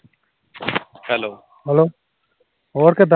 hello ਹੋਰ ਕਿਦਾ